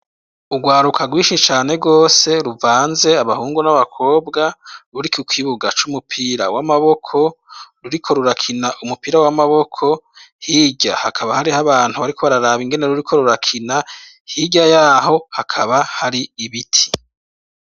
Ugwaruka gwishi cane gose ruvanze abahungu n'abakobwa ruri kukibuga c'umupira w'amaboko ruriko rurakina umupira w'amaboko. Hirya hakaba hariho abantu bariko bararaba ingene ruriko rurakina, hirya yaho hakaba hari ibiti.